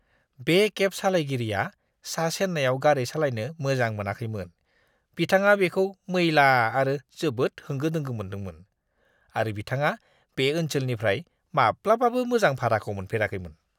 बे केब सालायगिरिया सा-चेन्नाईआव गारि सालायनो मोजां मोनाखैमोन। बिथाङा बेखौ मैला आरो जोबोद होंगो-दोंगो मोनदोंमोन, आरो बिथाङा बै ओनसोलनिफ्राय माब्लाबाबो मोजां भाराखौ मोनफेराखैमोन!